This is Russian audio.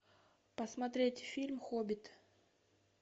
посмотреть фильм хоббит